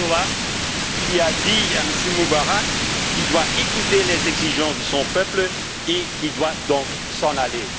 Erdogan, qui a dit à M. Moubarak qu'il devait écouter les exigences de son peuple et qu'il devait donc s'en aller.